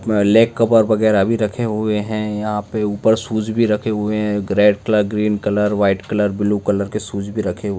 leg cover वगैरा भी रखे हुए है यहां पे ऊपर शूज भी रखे हुए है red green colour white blue colour के शूज भी रखे हुऐ --